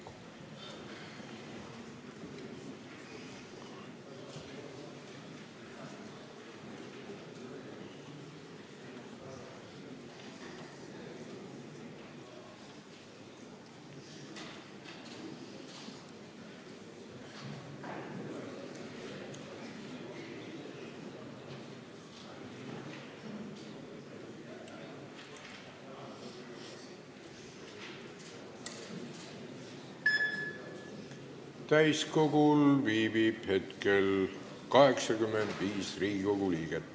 Kohaloleku kontroll Täiskogul viibib hetkel 85 Riigikogu liiget.